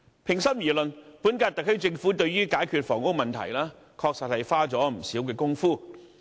平心而論，本屆特區政府對於解決房屋問題，確實花了不少工夫。